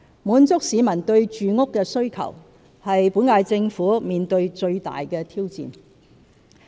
滿足市民對住屋的需求是本屆政府面對最大的挑戰。